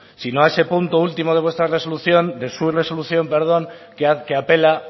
sino a ese punto último de vuestra resolución de su resolución perdón que apela